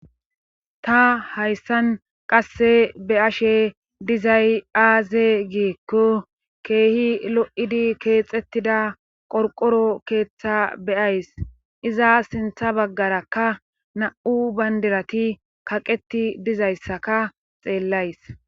Ta hayssan qasse be ashe dizay aaze giekko keehi lo,idi keexettida qorqoro keeththa beyays iza sintha baggarakka na,u bandirati kaqeti dizayssaka xeellays.